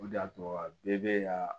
O de y'a to a bɛɛ bɛ yan